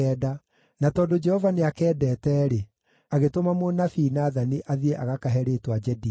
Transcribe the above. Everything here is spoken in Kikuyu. na tondũ Jehova nĩakendete-rĩ, agĩtũma mũnabii Nathani athiĩ agakahe rĩĩtwa Jedidia.